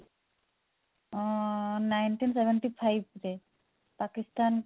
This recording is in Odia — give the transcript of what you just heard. ଅ nineteen seventy five ରେ ପାକିସ୍ତାନ କୁ